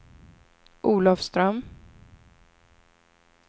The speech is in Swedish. Olafström